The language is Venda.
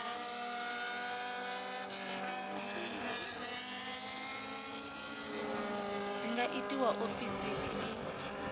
dzi nga itwa ofisini i